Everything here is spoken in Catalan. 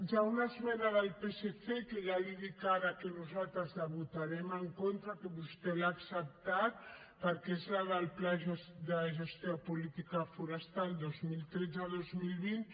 hi ha una esmena del psc que ja li dic ara que nosaltres la votarem en contra que vostè l’ha acceptat perquè és la del pla de gestió de política forestal dos mil tretze dos mil vint